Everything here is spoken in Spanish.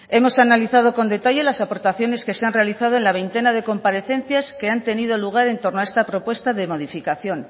hemos analizado con detalle las aportaciones que se han realizado en la veintena de comparecencias que han tenido lugar en torno a esta propuesta de modificación